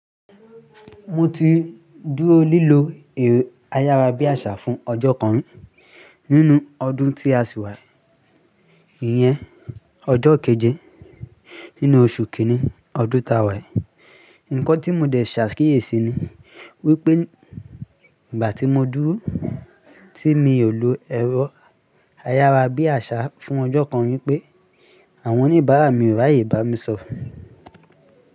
Mo ti dúró lílo ẹ̀rọ ayára bí àṣá fún ọjọ́ kan nínú ọdún tí a sì wa yi iyẹn, ọjọ́ keje nínú oṣù kínní ọdún ti wa yi Ǹkan tí mo dẹ̀ ṣà akíyèsi ni wípé ìgbà tí mo dúró tí mi ò lò ẹ̀rọ ayára bí àṣá fún ọjọ́ kan ní pé àwọn oníbàárà mi ò ráàyè bá mi sọ̀rọ̀